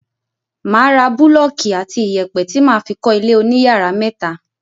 máa ra búlọ́kì àti ìyẹ̀pẹ̀ ti máa fi kọ́ ilé oníyàrá méta.